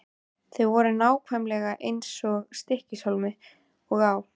Þau voru nákvæmlega eins í Stykkishólmi og á